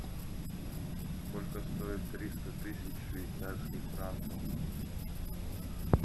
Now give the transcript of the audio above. сколько стоит триста тысяч швейцарских франков